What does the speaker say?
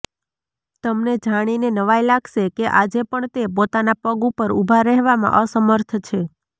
તમને જાણીને નવાઈ લાગશે કે આજે પણ તે પોતાના પગ ઉપર ઉભા રહેવામાં અસમર્થ છે